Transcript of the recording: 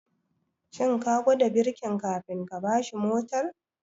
Shin ka gwada birkin kafin ka bashi mortar?